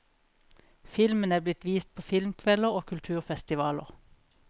Filmen er blitt vist på filmkvelder og kulturfestivaler.